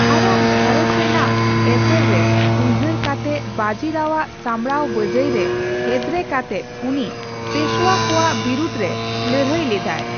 ᱟᱭᱟᱜ ᱜᱷᱟᱨᱚᱸᱡᱽ ᱨᱮᱱᱟᱜ ᱮᱥᱮᱨ ᱨᱮ ᱩᱭᱦᱟᱹᱨ ᱠᱟᱛᱮᱫ ᱵᱟᱹᱡᱤ ᱨᱟᱣᱟᱜ ᱥᱟᱢᱵᱽᱲᱟᱣ ᱵᱟᱹᱡᱟᱹᱭ ᱨᱮ ᱮᱫᱨᱮ ᱠᱟᱛᱮᱫ ᱩᱱᱤ ᱯᱮᱥᱳᱣᱟ ᱠᱚᱣᱟᱜ ᱵᱤᱨᱩᱽ ᱨᱮ ᱞᱟᱹᱲᱦᱟᱹᱭ ᱞᱮᱫᱟᱭ ᱾